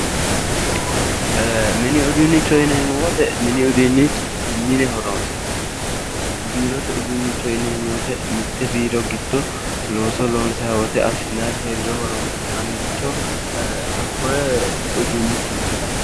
Mini uduunnicho yineemmo woyiite mini uduunni mine horonsi'neemmo biirote uduunnicho yineemmo woyiite mitte biiro giddo looso lonsayi woyiite assinayiiri heeriro horonsi'nayiiricho hakkoye uduunnichooti